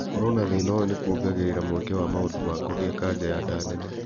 Gũkorwo na thĩna ũyũ nĩkuongagĩrĩra mweke wa mũndũ wa kũgĩa kanja ya nda nene